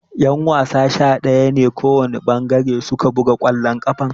Ƴan-wasa sha daya ne kowana ɓangare suke buga kwallon ƙafa.